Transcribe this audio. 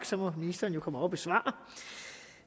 så må ministeren jo komme op og svare